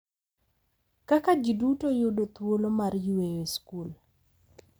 Kaka ji duto yudo thuolo mar yweyo e skul.